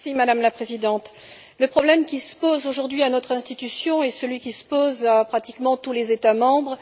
Madame la Présidente, le problème qui se pose aujourd'hui à notre institution est celui qui se pose pratiquement à tous les États membres.